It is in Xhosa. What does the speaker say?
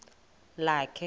lakhe